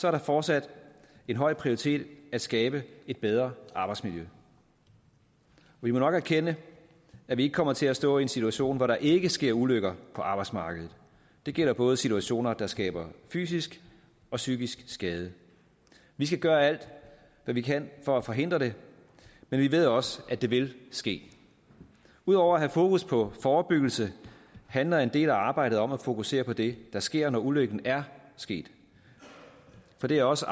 er det fortsat en høj prioritet at skabe et bedre arbejdsmiljø vi må nok erkende at vi ikke kommer til at stå i en situation hvor der ikke sker ulykker på arbejdsmarkedet det gælder både situationer der skaber fysisk og psykisk skade vi skal gøre alt hvad vi kan for at forhindre det men vi ved også at det vil ske ud over at have fokus på forebyggelse handler en del af arbejdet om at fokusere på det der sker når ulykken er sket for det er også